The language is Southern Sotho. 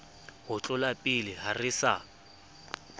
ho tlolapele ha re sa